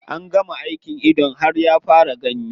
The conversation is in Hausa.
An gama aikin idon har ya fara gani.